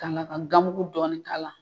kanga ka ganmugu dɔɔni k'a la.